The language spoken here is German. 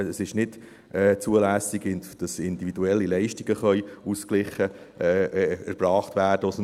Es ist nicht zulässig, dass individuelle Leistungen aus dem KGSG ausgeglichen erbracht werden können.